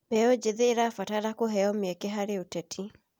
Mbeũ njĩthĩ marabatara kũheo mĩeke harĩ ũteti.